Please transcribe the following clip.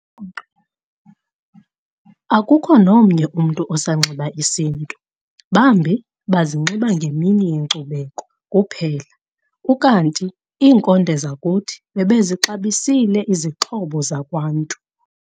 akukho nomnye umntu osanxiba isiNtu, bambi bazinxiba ngemini yeNkcubeko kuphela, ukanti inkonde zakuthi bebezixabisile izinxibo zakwNntu.